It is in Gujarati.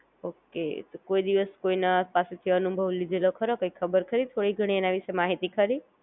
ઓકે, તો કોઈ દિવસ કોઈ ના પાસે થી અનુભવ લીધેલો ખરો? કાઇ ખબર ખરી થોડી ઘણી એના વિશે માહિતી ખરી?